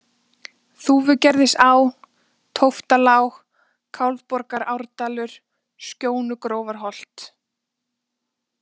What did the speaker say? Þúfugerðisá, Tóftalág, Kálfborgaárdalur, Skjónugrófarholt